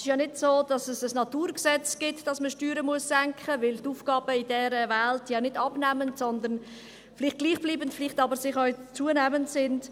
Es ist ja nicht so, dass es ein Naturgesetz gibt, dass man Steuern senken muss, denn die Aufgaben in dieser Welt sind ja nicht abnehmend, sondern vielleicht gleichbleibend, vielleicht aber auch zunehmend.